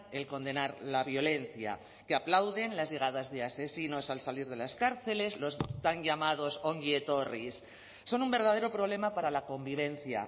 el condenar la violencia que aplauden las llegadas de asesinos al salir de las cárceles los tan llamados ongi etorris son un verdadero problema para la convivencia